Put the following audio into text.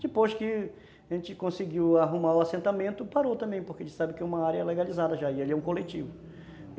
Depois que a gente conseguiu arrumar o assentamento, parou também, porque a gente sabe que é uma área legalizada já e ali é um coletivo.